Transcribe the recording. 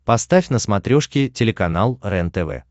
поставь на смотрешке телеканал рентв